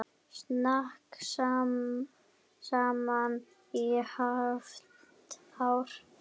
Snakka saman í hálft ár.